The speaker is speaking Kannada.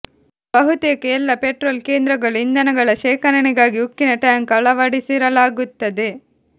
ಬಹುತೇಕ ಎಲ್ಲಾ ಪೆಟ್ರೋಲ್ ಕೇಂದ್ರಗಳು ಇಂಧನಗಳ ಶೇಖರಣೆಗಾಗಿ ಉಕ್ಕಿನ ಟ್ಯಾಂಕ್ ಅಳವಡಿಸಿರಲಾಗುತ್ತದೆ